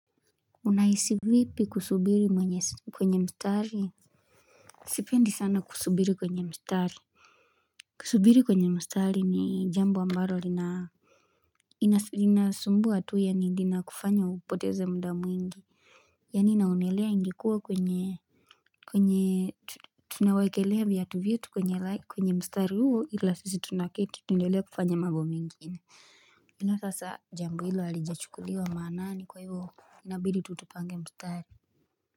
Unahisi vipi kusubiri mwenye kwenye msitari Sipendi sana kusubiri kwenye mstari Kusubiri kwenye mstari ni jambo ambalo lina Inasumbua tu yani inakufanya upoteza muda mwingi Yani naonelea ingikuwa kwenye kwenye tunawekelea viatu vyetu kwenye mstari huo ila sisi tunaketi tuendelee kufanya mambo mengine Ila sasa jambo hilo halijachukuliwa maanani kwa hivyo inabidi tu tupange mstari.